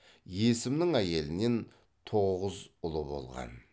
есімнің әйелінен тоғыз ұлы болған